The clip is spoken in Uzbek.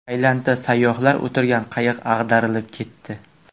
Tailandda sayyohlar o‘tirgan qayiq ag‘darilib ketdi.